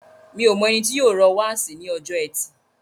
Mi o mọ ẹni tó yóò rọ́ wáàsí ní ọjọ́ ẹtì.